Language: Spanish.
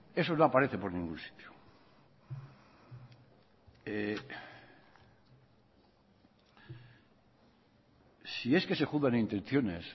eso no aparece por ningún sitio si es que se juzgan intenciones